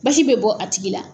Basi bɛ bɔ a tigi la.